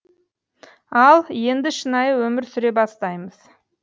ал енді шынайы өмір сүре бастаймыз